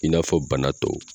I n'a fɔ banatɔw